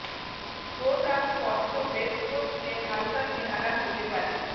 coat আপ স্পর্শ base coat চেয়ে হালকা চেহারা হতে পারে